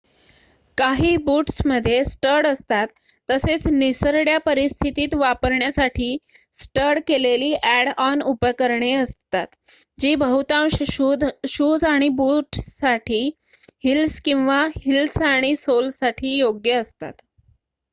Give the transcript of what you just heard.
काही बूट्समध्ये स्टड असतात तसेच निसरड्या परिस्थितीत वापरण्यासाठी स्टड केलेली ॲड-ऑन उपकरणे असतात जी बहुतांश शूज आणि बूट्ससाठी हिल्स किंवा हिल्स आणि सोलसाठी योग्य असतात